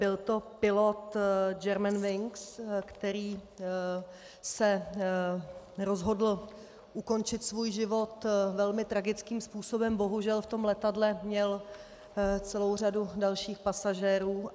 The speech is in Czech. Byl to pilot German Wings, který se rozhodl ukončit svůj život velmi tragickým způsobem, bohužel v tom letadle měl celou řadu dalších pasažérů.